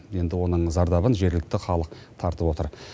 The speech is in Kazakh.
енді оның зардабын жергілікті халық тартып отыр